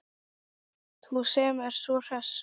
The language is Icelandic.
Þú sem ert svo hress!